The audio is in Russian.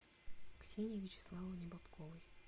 ксении вячеславовне бобковой